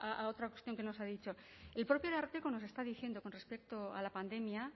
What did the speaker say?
a otra cuestión que nos ha dicho el propio ararteko nos está diciendo con respecto a la pandemia